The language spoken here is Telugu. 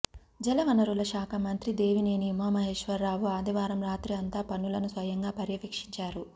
జలవనరుల శాఖ మంత్రి దేవినేని ఉమామహేశ్వరరావు ఆదివారం రాత్రి అంతా పనులను స్వయంగా పర్యవేక్షించారు